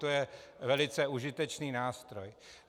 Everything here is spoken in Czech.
To je velice užitečný nástroj.